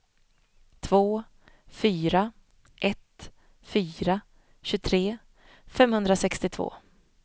två fyra ett fyra tjugotre femhundrasextiotvå